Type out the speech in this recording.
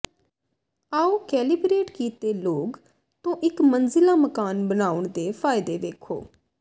ਆਉ ਕੈਲੀਬਰੇਟ ਕੀਤੇ ਲੌਗ ਤੋਂ ਇਕ ਮੰਜ਼ਿਲਾ ਮਕਾਨ ਬਣਾਉਣ ਦੇ ਫਾਇਦੇ ਵੇਖੋ